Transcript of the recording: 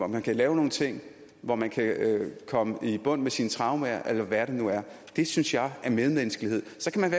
man kan lave nogle ting hvor man kan komme i bund med sine traumer eller hvad det nu er det synes jeg er medmenneskelighed så kan man